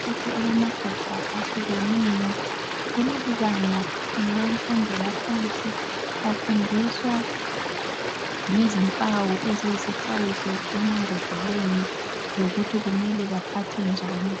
Ishelufu elamagabha ahlukeneyo kuleli banga lemfundo yaphansi bafundiswa ngezimpawu lezixwayiso emambodleleni lokuthi kumele baphathe njani